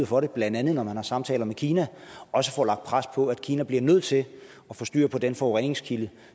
for det blandt andet når man har samtaler med kina også får lagt pres på for at kina bliver nødt til at få styr på den forureningskilde